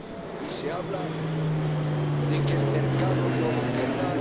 Y se habla de que el mercado no lo querrá...